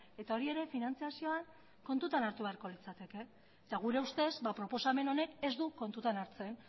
eta hori ere finantziazioan kontutan hartu beharko litzateke gure ustez ba proposamen honek ez du kontutan hartzen